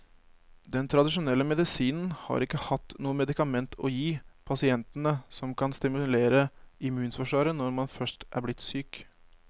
Den tradisjonelle medisinen har ikke hatt noe medikament å gi pasientene som kan stimulere immunforsvaret når man først er blitt syk.